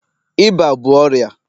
ịba bụ ọrịa